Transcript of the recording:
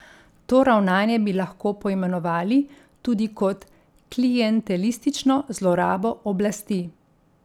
To ravnanje bi lahko poimenovali tudi kot klientelistično zlorabo oblasti.